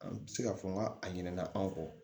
An tɛ se k'a fɔ n ka a ɲina na an kɔ